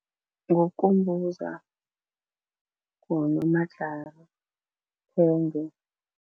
Ngukumbuza, nguNomajara, Siphenge.